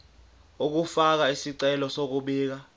ukufaka isicelo sokubika